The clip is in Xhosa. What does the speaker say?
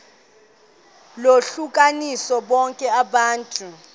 lohlukanise bonke abantu